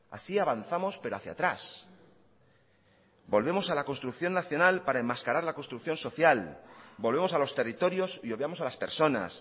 así avanzamos pero hacia atrás volvemos a la construcción nacional para enmascarar la construcción social volvemos a los territorios y obviamos a las personas